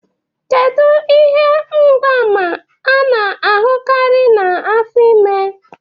Kedu ihe mgbaàmà a na-ahụkarị na afọ ime?